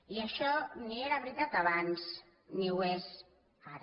i això ni era veritat abans ni ho és ara